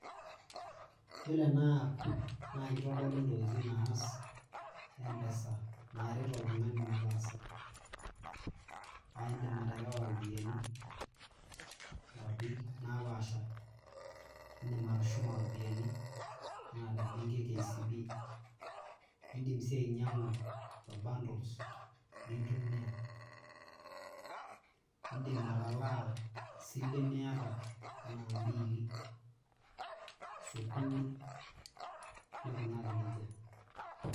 Yiolo ena app naa kitodolu ntokitin naas mpesa naret oltungani metaasa. naa indim aterewa iropiyiani nkwapi naapaasha ,indim atushuma iropiyiani anaa te benki e kcb , indim sii ainyiangu bundles lintumia ,indim atalaa isilen niata anaa m`biili ,sukuul neikunaki nejia.